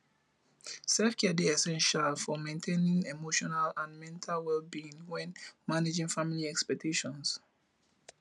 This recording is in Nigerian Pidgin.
selfcare dey essential for maintaining emotional and mental wellbeing when managing family expectations